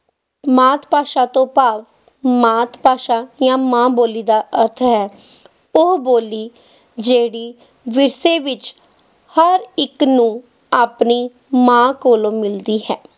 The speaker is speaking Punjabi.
ਮਾਤ ਭਾਸ਼ਾ ਤੋਂ ਭਾਵ ਮਾਤ ਭਾਸ਼ਾ ਜਾਂ ਮਾਂ ਬੋਲੀ ਦਾ ਅਰਥ ਹੈ ਉਹ ਬੋਲੀ ਜਿਹੜੀ ਜਿਸਦੇ ਵਿੱਚ ਹਰ ਇੱਕ ਨੂੰ ਆਪਣੀ ਮਾਂ ਕੋਲੋਂ ਮਿਲਦੀ ਹੈ।